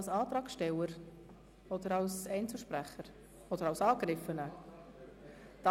Spricht er als Antragsteller, als Einzelsprecher oder als Angegriffener?